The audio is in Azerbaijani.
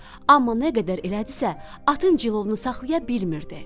Amma nə qədər elədisə, atın cilovunu saxlaya bilmirdi.